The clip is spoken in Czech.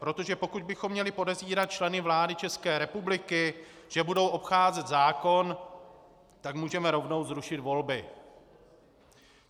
Protože pokud bychom měli podezírat členy vlády České republiky, že budou obcházet zákon, tak můžeme rovnou zrušit volby.